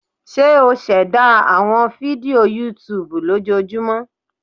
Ṣe o ṣẹda awọn fidio YouTube lojoojumọ?